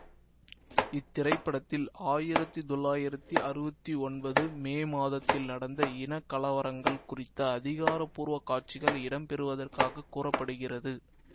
இத்திரைப்படத்தில் ஆயிரத்தி தொள்ளாயிரத்தி அறுவத்தி ஒன்பது மே மாதத்தில் நடந்த இனக்கலவரங்கள் குறித்த அதிகாரப்பூர்வ காட்சிகள் இடம் பெற்றுள்ளதாகக் கூற படுகிறது